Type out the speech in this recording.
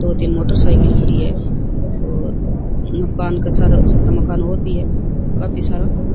दो तीन मोटरसाइकिल खड़ी है और मकान के सारे अच्छा सा मकान और भी है काफी सारा।